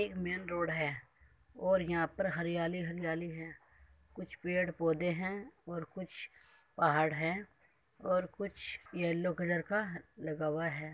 एक main road है और यहां पर हरियाली हरियाली है | कुछ पेड़ पौधे हैं और कुछ पहाड़ है और कुछ येलो कलर का लगा हुआ है।